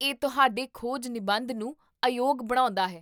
ਇਹ ਤੁਹਾਡੇ ਖੋਜ ਨਿਬੰਧ ਨੂੰ ਅਯੋਗ ਬਣਾਉਂਦਾ ਹੈ